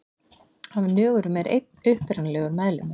Af nögurum er einn upprunalegur meðlimur.